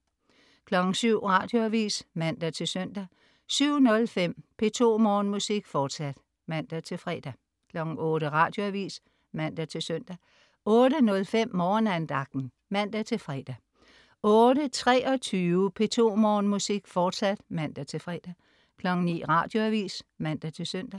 07.00 Radioavis (man-søn) 07.05 P2 Morgenmusik, fortsat (man-fre) 08.00 Radioavis (man-søn) 08.05 Morgenandagten (man-fre) 08.23 P2 Morgenmusik, fortsat (man-fre) 09.00 Radioavis (man-søn)